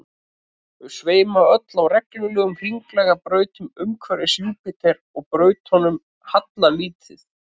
þau sveima öll á reglulegum hringlaga brautum umhverfis júpíter og brautunum hallar lítið